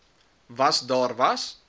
was daar was